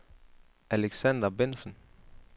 Alexander Bengtsen